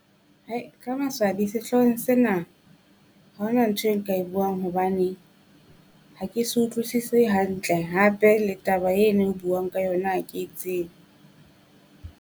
Ka maswabi sehloohong sena haona ntho e nka e buang hobane, ha ke se utlwisisi hantle hape le taba ena e o buang ka yona ha ke e tsebe.